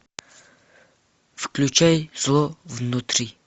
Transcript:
включай зло внутри